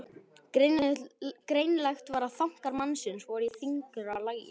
Greinilegt var að þankar mannsins voru í þyngra lagi.